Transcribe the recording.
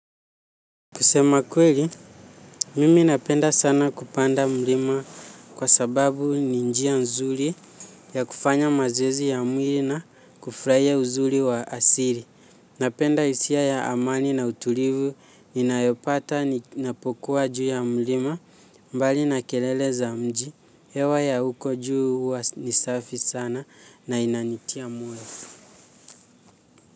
Kusema kweli, mimi napenda sana kupanda mlima kwa sababu ni njia nzuri ya kufanya mazezi ya mwili na kufraia uzuri wa asiri. Napenda hisia ya amani na utulivu, ninayopata napokuwa juu ya mlima mbali na kelele za mji. Hewa ya huko juu huwa ni safi sana na inanitia moyo.